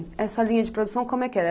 E essa linha de produção como é que era?